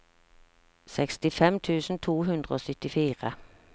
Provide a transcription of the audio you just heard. sekstifem tusen to hundre og syttifire